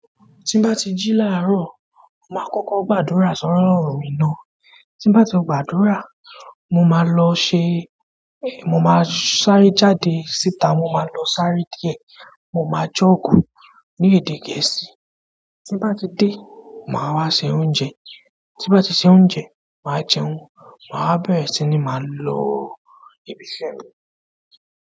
Tín bá ti jí láàárọ̀, màá kókó gbàdúrà sọ́rọ̀ mì náà. Tín bá ti gbàdúrà, mo máa lọ ṣe-- mo máa sáré jáde síta, mo máa lọ sáré díẹ̀. Mo máa jọ̀ọ́gù ní èdè Gẹ̀ẹ́sì. Tín bá ti dé, màá wá se oúnjẹ. Tín bá ti se oúnjẹ, màá jẹun. Màá bẹ̀rẹ̀ sí ní máa lọ ibi iṣẹ́ mi.